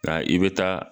Nka i bɛ taa